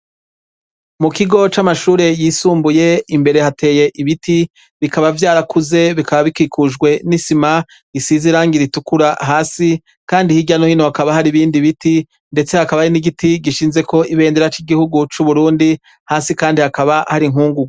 Mu kigo c'amashure yisumbuye hari inyubako isizirange iraisa n'umuhondo hejuru nirangigirabura hasi, kandi hasi hakabashashe amabuye rikabifise umuryango usa n'ubururu ugizwe n'ivyuma imbere hakaba arintebe abanyeshurii bicaramwo bariko bariga.